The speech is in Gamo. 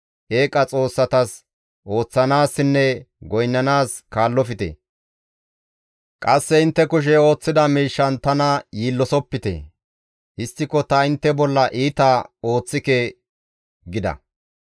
Eeqa xoossatas ooththanaassinne goynnanaas kaallofte; qasse intte kushey ooththida miishshan tana yiillosopite. Histtiko ta intte bolla iita ooththike» gida.